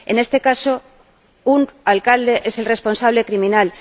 En este caso, un alcalde es el responsable criminal